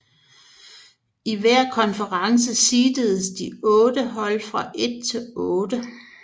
I hver konference seededes de otte hold fra 1 til 8